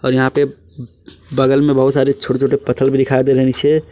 और यहां पे बगल में बहुत सारे छोटे छोटे पत्थर भी दिखाई दे रहे हैं नीचे।